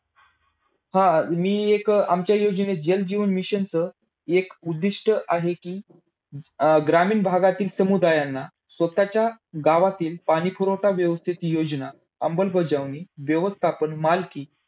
पाऊस पडला की लगेचच पाणी जमिनीवरून वाहताना दिसत नाही. पाऊस जसा सपाट जमिनीवरून पडतो तसाच तो डोंगर उतार तलाव समुद्र अशा जलसाठ्यावरूनही पडतो.